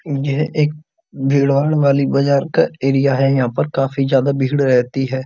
यह एक भीड़-भाड़ वाली बाज़ार का एरिया है। यहाँ पर काफी ज्यादा भीड़ रहती है।